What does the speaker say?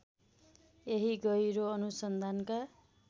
यही गहिरो अनुसन्धानका